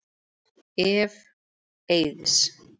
Ef. Eiðs